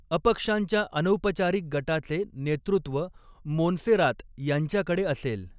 अपक्षांच्या अनौपचारिक गटाचे नेतृत्व मोन्सेरात यांच्याकडे असेल.